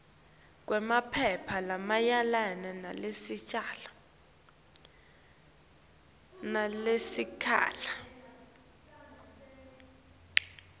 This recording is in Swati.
kwemaphepha lamayelana nalelicala